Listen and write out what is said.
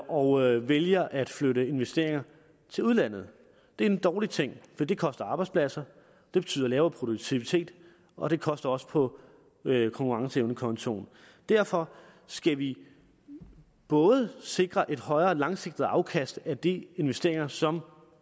og vælger at flytte investeringer til udlandet det er en dårlig ting for det koster arbejdspladser det betyder lavere produktivitet og det koster også på konkurrenceevnekontoen derfor skal vi både sikre et højere langsigtet afkast af de investeringer som